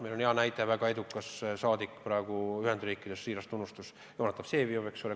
Meil on hea näide: väga edukas saadik Ühendriikides on – siiras tunnustus talle – Jonatan Vseviov, eks ole.